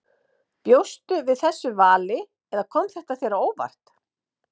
Bjóstu við þessu vali eða kom þetta þér á óvart?